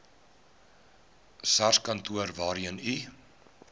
sarskantoor waarheen u